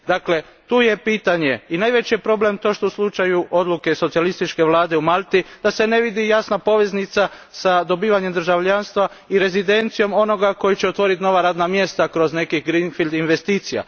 Dakle, tu je pitanje i najveći je problem to što se u slučaju odluke socijalističke vlade u Malti ne vidi jasna poveznica s dobivanjem državljanstva i rezidencijom onoga koji će otvoriti nova radna mjesta kroz neke greenfield investicije.